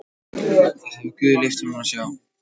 Það hefur guð leyft honum að sjá.